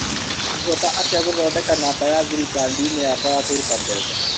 Ngũhota atĩa gũthondeka namba ya thiri kandi-inĩ yakwa ya kũruta mbeca.